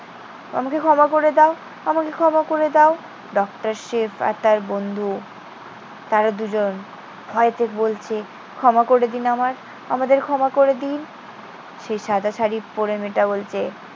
আমাকে ক্ষমা করে দাও। আমাকে ক্ষমা করে দাও। ডক্টর শিব আর তার বন্ধু তারা দুজন ভয়েতে বলছে, ক্ষমা করে দিন আমায়। আমাদের ক্ষমা করে দিন। সেই সাদা শাড়ি পড়ে মেয়ে মেয়েটা বলছে,